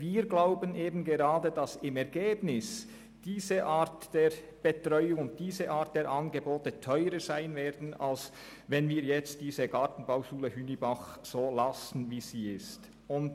Wir denken aber, dass diese Art Angebote im Endeffekt teurer wäre als die Beibehaltung der Gartenbauschule Hünibach in der heutigen Form.